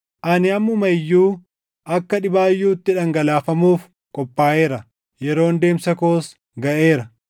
Ani ammuma iyyuu akka dhibaayyuutti dhangalaafamuuf qophaaʼeera; yeroon deemsa koos gaʼeera.